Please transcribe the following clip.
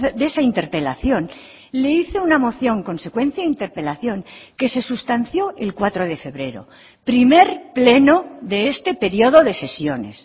de esa interpelación le hice una moción consecuencia a interpelación que se sustanció el cuatro de febrero primer pleno de este periodo de sesiones